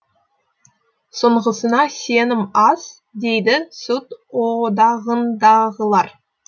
соңғысына сенім аз дейді сүт одағындағылар